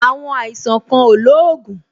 Àwọn àìsàn kan ò lóògùn